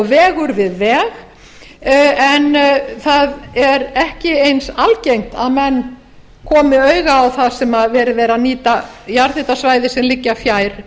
vegur við veg en það er ekki eins algengt að menn komi auga á það þar sem verið er að nýta jarðhitasvæði sem liggja fjær